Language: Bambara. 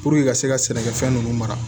ka se ka sɛnɛkɛfɛn ninnu mara